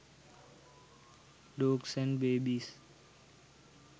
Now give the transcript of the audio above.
dogs and babies